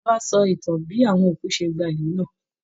Bàbá á sọ ìtàn bí àwọn òkú ṣe gba ìlú náà